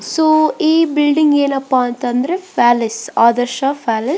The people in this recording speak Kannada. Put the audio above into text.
ಸೊ ಈ ಬಿಲ್ಡಿಂಗ್ ಏನಪ್ಪಾ ಅಂತಾದ್ರೆ ಪ್ಯಾಲೇಸ್ ಆದರ್ಶ ಪ್ಯಾಲೇಸ್ .